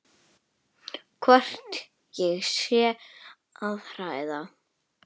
Hvort ég sé að hræða.